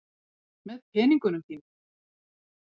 Með peningunum þínum.